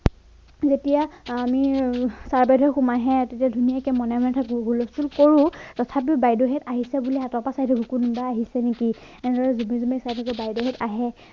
যেতিয়া আমি ছাৰ বাইদেউ সোমাই আহে তেতিয়া ধুনীয়াকে মনে মনে থাকো সুলচটোল কৰো তথাপিও বাইদেউসত আহিছে বুলি আগৰ পৰা চাই থাকো কোনোবা আহিছে নেকি এনেদৰে জুমি জুমি চাই থাকো বাইদেউসত আহে